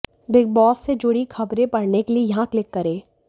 big Boss से जुड़ी खबरें पढ़ने के लिए यहां क्लिक करें